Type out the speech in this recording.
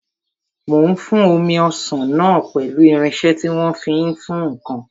Mò ń fún omi ọsàn náà pẹ̀lú irinsẹ́ tí wọ́n fi ń fún ǹkan